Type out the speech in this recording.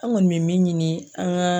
An kɔni me min ɲini an gaa